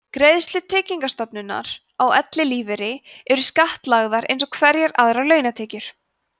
greiðslur tryggingastofnunar á ellilífeyri eru skattlagðar eins og hverjar aðrar launatekjur